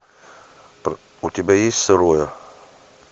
у тебя есть сырое